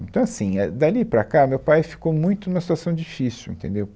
Então, assim, é, dali para cá, meu pai ficou muito numa situação difícil, entendeu?